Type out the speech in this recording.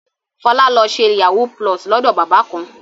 Fọlá lọ ṣe yahoo+ lọ́dọ̀ bàbá kan.